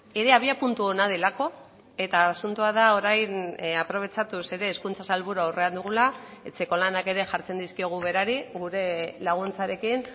ere abiapuntu ona delako eta asuntoa da orain aprobetxatuz ere hezkuntza sailburua aurrean dugula etxeko lanak ere jartzen dizkiogu berari gure laguntzarekin